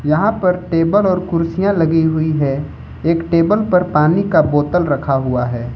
यहां पर टेबल और कुर्सियां लगी हुई है एक टेबल पर पानी का बोतल रखा हुआ है।